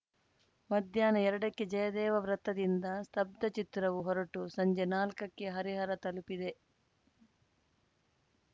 ಮಧ್ಯಾಹ್ನ ಎರಡಕ್ಕೆ ಜಯದೇವ ವೃತ್ತದಿಂದ ಸ್ತಬ್ದ ಚಿತ್ರವು ಹೊರಟು ಸಂಜೆ ನಾಲ್ಕಕ್ಕೆ ಹರಿಹರ ತಲುಪಿದೆ